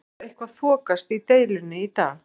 Hefur eitthvað þokast í deilunni í dag?